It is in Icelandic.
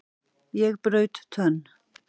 Ég braut tönn!